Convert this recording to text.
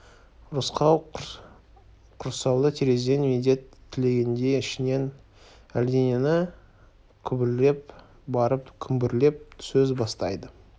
рысқұл құрсаулы терезеден медет тілегендей ішінен әлденені күбірлеп барып күмбірлеп сөз бастайды